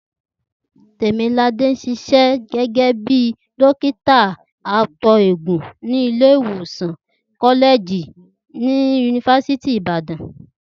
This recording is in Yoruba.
Tèmiládé ń s̩is̩é̩ gé̩gé̩ bí dókítà ato-eegun ní ilé ìwòsàn kó̩lé̩è̩jì yunifasiti ti Ìbàdàn